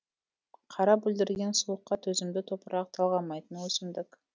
қара бүлдірген суыққа төзімді топырақ талғамайтын өсімдік